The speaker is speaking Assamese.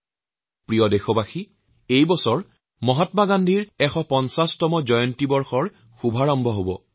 মোৰ শ্ৰ্দ্বাৰ দেশবাসী এইবছৰ মহাত্মা গান্ধীৰ ডেৰশ বছৰীয়া জয়ন্তীৰ শুভাৰম্ভ হৈছে